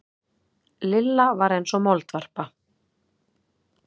Lilla var eins og moldvarpa.